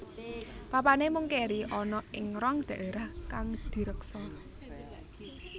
Papané mung kéri ana ing rong dhaérah kang direksa